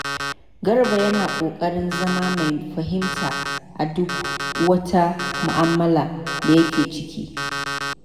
Garba yana kokarin zama mai fahimta a duk wata mu'amala da yake ciki.